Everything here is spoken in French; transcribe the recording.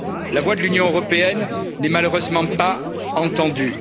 La voix de l'Union européenne n'est malheureusement pas entendue.